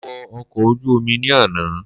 Mo wo ọkọ̀ ojú Omi ni àná